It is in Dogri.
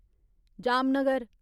जामनगर